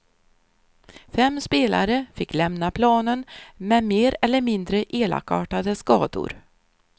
Fem spelare fick lämna planen med mer eller mindre elakartade skador.